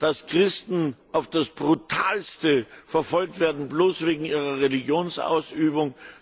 Dass Christen auf das Brutalste verfolgt werden, bloß wegen ihrer Religionsausübung.